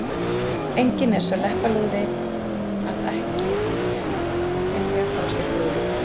Enginn er sá leppalúði að ekki vilja fá sér brúði.